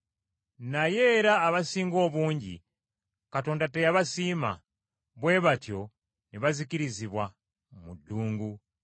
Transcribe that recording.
Naye era abasinga obungi Katonda teyabasiima, bwe batyo ne bazikirizibwa mu ddungu.